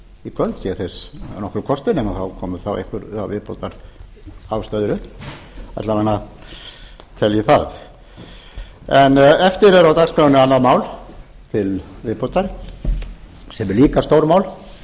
í kvöld ef þess er nokkur kostur nema þá komi einhverjar viðbótarástæður upp alla vega tel ég það eftir er á dagskránni annað mál til viðbótar sem er líka stórmál